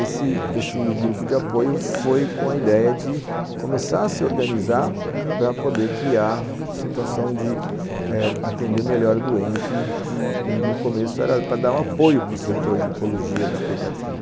Esse esse grupo de apoio foi com a ideia de começar a se organizar para poder criar a situação de eh atender melhor o doente e no começo era para dar o apoio para o setor de Oncologia da Pediatria.